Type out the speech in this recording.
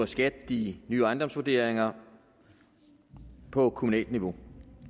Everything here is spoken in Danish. skat de nye ejendomsvurderinger på kommunalt niveau